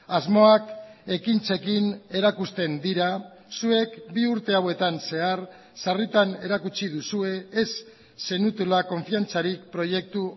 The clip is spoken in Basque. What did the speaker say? asmoak ekintzekin erakusten dira zuek bi urte hauetan zehar sarritan erakutsi duzue ez zenutela konfiantzarik proiektu